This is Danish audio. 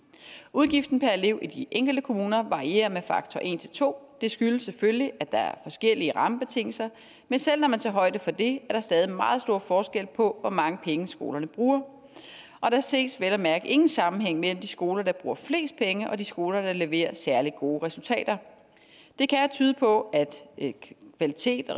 udgiften per elev i de enkelte kommuner varierer med faktor en til to og det skyldes selvfølgelig at der er forskellige rammebetingelser men selv når man tager højde for det er der stadig meget stor forskel på hvor mange penge skolerne bruger og der ses vel at mærke ingen sammenhæng mellem de skoler der bruger flest penge og de skoler der leverer særlig gode resultater det kan tyde på at kvalitet